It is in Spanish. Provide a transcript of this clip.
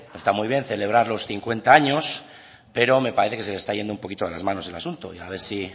está muy bien celebrar los cincuenta años pero me parece que se le está yendo un poquito de las manos el asunto y a ver si